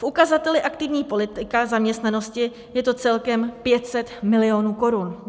V ukazateli aktivní politika zaměstnanosti je to celkem 500 milionů korun.